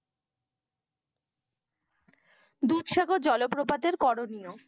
দুধসাগর জলপ্রপাতের করণীয়।